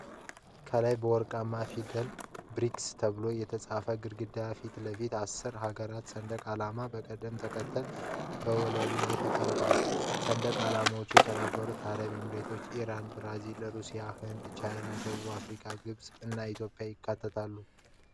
ከላይ በወርቃማ ፊደላት “BRICS” ተብሎ የተጻፈበት ግድግዳ ፊት ለፊት አስር ሀገራት ሰንደቅ ዓላማዎች በቅደም ተከተል በወለሉ ላይ ቆመዋል። ሰንደቅ ዓላማዎቹ የተባበሩት አረብ ኤሚሬቶች፣ ኢራን፣ ብራዚል፣ ሩሲያ፣ ህንድ፣ ቻይና፣ ደቡብ አፍሪካ፣ ግብፅ እና ኢትዮጵያን ያካትታሉ።